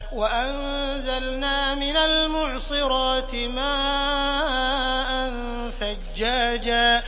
وَأَنزَلْنَا مِنَ الْمُعْصِرَاتِ مَاءً ثَجَّاجًا